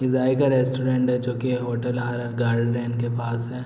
ये जाइका रेस्टोरेंट है जो कि होटल आर गार्डन के पास है।